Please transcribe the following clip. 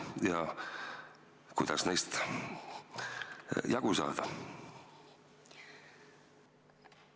Ja kuidas neist jagu saada?